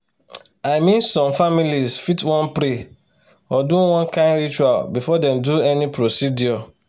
i mean some families fit wan pray or do one kind ritual before dem do any procedure